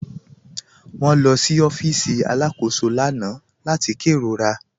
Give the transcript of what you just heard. Wọn lọ sí ọ̀fíìsì alákòsó lána láti kẹrórà.